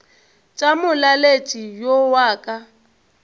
tša molaletši yo wa ka